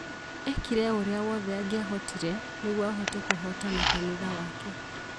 Eekire o ũrĩa wothe angĩahotire nĩguo ahote kũhotana kanitha wake